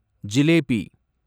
jalebi